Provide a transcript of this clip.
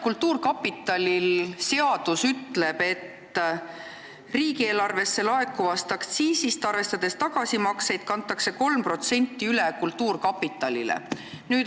Kultuurkapitali seadus ütleb, et riigieelarvesse laekuvast aktsiisist, arvestades tagasimakseid, kantakse 3% üle kultuurkapitalile.